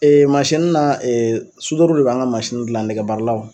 masinin na de b'an ka masinin gilan nɛgɛbaaralaw.